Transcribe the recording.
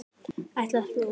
Ætlar þú.?